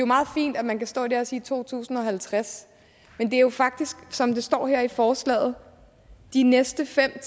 meget fint at man kan stå der og sige i to tusind og halvtreds men det er jo faktisk sådan som der står her i forslaget at de næste fem